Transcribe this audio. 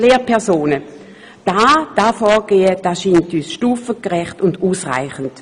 Dieses Vorgehen erscheint uns als stufengerecht und ausreichend.